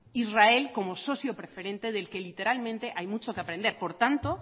israel como socio preferente del que literalmente hay mucho que aprender por tanto